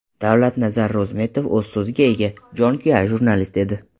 Davlatnazar Ro‘zmetov o‘z so‘ziga ega, jonkuyar jurnalist edi.